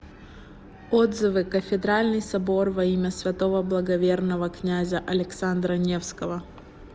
отзывы кафедральный собор во имя святого благоверного князя александра невского